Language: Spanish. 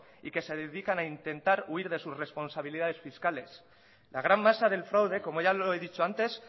y que se dedican a intentar huir de sus responsabilidades fiscales la gran masa del fraude como ya lo he dicho antes